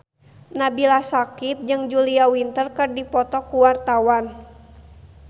Nabila Syakieb jeung Julia Winter keur dipoto ku wartawan